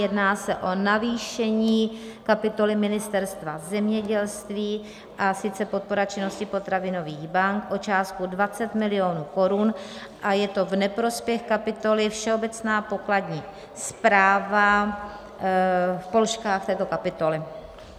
Jedná se o navýšení kapitoly Ministerstva zemědělství, a sice podpora činnosti potravinových bank, o částku 20 milionů korun a je to v neprospěch kapitoly Všeobecná pokladní správa v položkách této kapitoly.